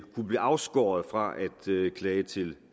kunne blive afskåret fra at klage til